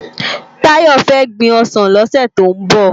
Tayo fè gbin òsán lòsè tó n bò